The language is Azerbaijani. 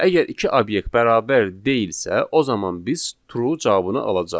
Və əgər iki obyekt bərabər deyilsə, o zaman biz true cavabını alacağıq.